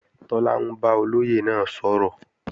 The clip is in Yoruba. Tọ́lá ń bá olóyè náà sọ̀rọ̀